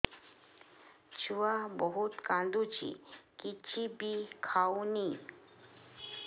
ଛୁଆ ବହୁତ୍ କାନ୍ଦୁଚି କିଛିବି ଖାଉନି